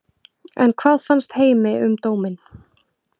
En hvað fannst heimi um dóminn?